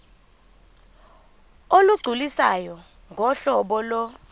olugculisayo ngohlobo lo